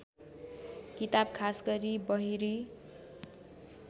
किताब खासगरी बहिरी